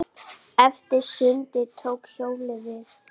Eftir sundið tók hjólið við.